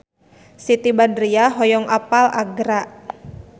Siti Badriah hoyong apal Agra